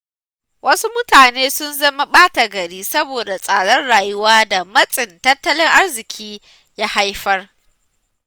Wasu mutane sun zama ɓata gari saboda tsadar rayuwa da matsin tattalin arziƙi ya haifar.